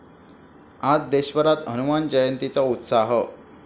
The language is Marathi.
आज देशभरात हनुमान जयंतीचा उत्साह!